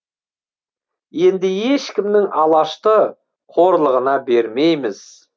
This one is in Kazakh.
енді ешкімнің алашты қорлығына бермейміз